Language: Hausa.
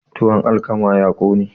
tuwon alkama ya kone